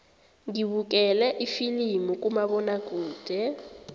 ngibukele ifilimu kumabonakude